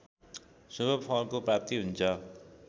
शुभफलको प्राप्ति हुन्छ